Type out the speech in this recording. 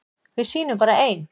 Við sýnum bara ein